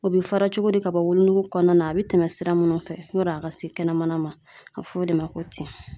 O be fara cogo di ka bɔ wolonugu kɔnɔna na a be tɛmɛ sira munnu fɛ yani a ka se kɛnɛmana ma a be f'o de ma ko tin